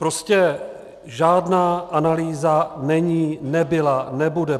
Prostě žádná analýza není, nebyla, nebude.